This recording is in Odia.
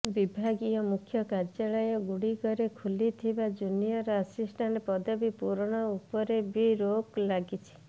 ବିଭାଗୀୟ ମୁଖ୍ୟ କାର୍ଯ୍ୟାଳୟ ଗୁଡ଼ିକରେ ଖାଲିଥିବା ଜୁନିୟର ଆସିଷ୍ଟାଂଟ ପଦବୀ ପୂରଣ ଉପରେ ବି ରୋକ ଲାଗିଛି